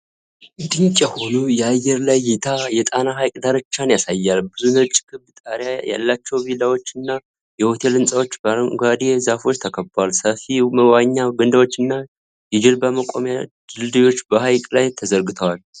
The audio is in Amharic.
ድንቅ የሆነ የአየር ላይ እይታ የጣና ሐይቅ ዳርቻን ያሳያል። ብዙ ነጭ ክብ ጣሪያ ያላቸው ቪላዎችና የሆቴል ሕንፃዎች በአረንጓዴ ዛፎች ተከበዋል። ሰፊ መዋኛ ገንዳዎችና የጀልባ መቆሚያ ድልድዮች በሐይቁ ላይ ተዘርግተዋል።